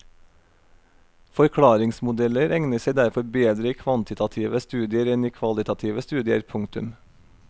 Forklaringsmodeller egner seg derfor bedre i kvantitative studier enn i kvalitative studier. punktum